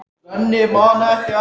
Og hvað gátum við þá gert?